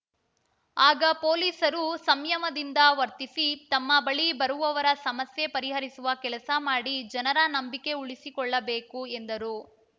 ಆಗ ಪೊಲೀಸರು ಸಂಯಮದಿಂದ ವರ್ತಿಸಿ ತಮ್ಮ ಬಳಿ ಬರುವವರ ಸಮಸ್ಯೆ ಪರಿಹರಿಸುವ ಕೆಲಸ ಮಾಡಿ ಜನರ ನಂಬಿಕೆ ಉಳಿಸಿಕೊಳ್ಳಬೇಕು ಎಂದರು